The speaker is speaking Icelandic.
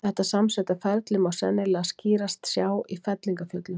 Þetta samsetta ferli má sennilega skýrast sjá í fellingafjöllum.